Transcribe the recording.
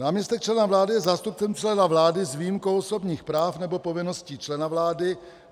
Náměstek člena vlády je zástupcem člena vlády, s výjimkou osobních práv nebo povinností člena vlády.